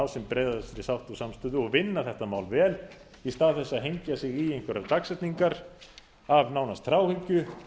sem breiðastri sátt og samstöðu og vinna þetta mál vel í stað þess að hengja sig í einhverjar dagsetningar af nánast þráhyggju